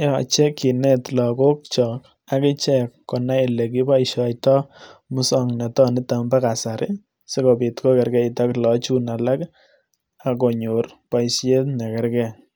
yoche kinet logokchok akichek konai ole kiboisiotoi musoknotetab kasari sikobiit kokeerkeit ak logochun alak ak konyor boisiet nekergei.